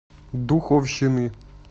духовщины